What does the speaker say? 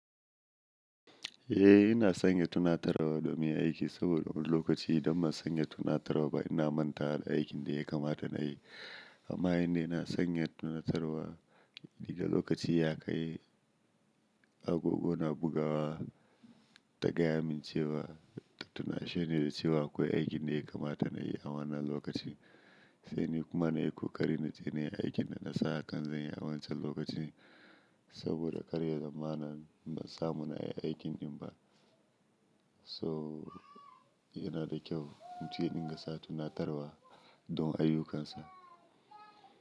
Eh ina sanya tunatarwa domin aiki saboda wani lokaci idan ba sanya tunatarwa ba ina manta da aikin da ya kamata na yi. Amma yanda ina sanya tunatarwa, da lokaci ya kai agogo na buga wa ta gaya min cewa ta tuna shi ne da cewa akwai aikin da ya kamata na yi a wannan lokaci. Sai ni kuma na yi kokari na je na yi aikin da na sa kan zanyi a wancan lokaci saboda karya zamana ba samun a yi aikin din ba. So yana da kyau mutum ya dinga sa tunatarwa don ayyukan sa.